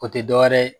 O tɛ dɔwɛrɛ ye